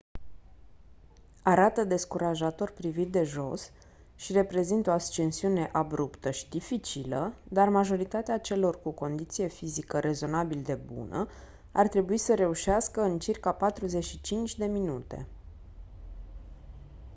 arată descurajator privit de jos și reprezintă o ascensiune abruptă și dificilă dar majoritatea celor cu condiție fizică rezonabil de bună ar trebui să reușească în circa 45 de minute